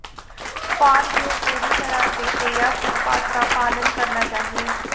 farm यह पूरी तरह से तैयार उत्पाद का पालन करना चाहिए